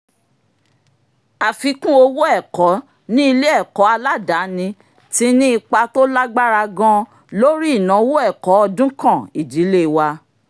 àfikún owó ẹ̀kọ́ ní ilé-ẹ̀kọ́ aládàáni ti ní ipa tó lágbára gan-an lórí ináwó ẹ̀kọ́ ọdúnkàn ìdílé wa